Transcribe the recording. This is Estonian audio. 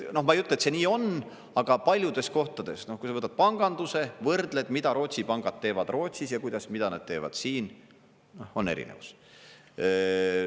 Ma ei ütle, et see nii on, aga paljudes kohtades, kui sa võtad panganduse, võrdled, mida Rootsi pangad teevad Rootsis ja mida nad teevad siin, on erinevus.